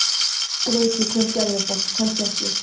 Kannski veit ég hver gerði þetta, kannski ekki.